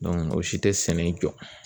o si tɛ sɛnɛ jɔ.